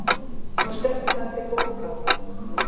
Nú stendur það til bóta.